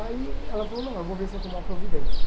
Aí ela falou, não, eu vou ver se eu tomo uma providência.